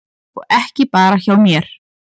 Og ekki bara hjá mér.